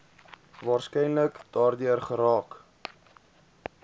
waarskynlik daardeur geraak